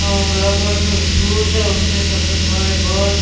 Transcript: अ black colour के shoes है उसके सर पे काले बाल है।